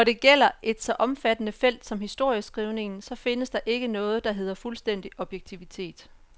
Når det gælder et så omfattende felt som historieskrivningen, så findes der ikke noget, der hedder fuldstændig objektivitet.